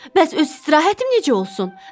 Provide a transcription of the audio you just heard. Bəs öz istirahətim necə olsun?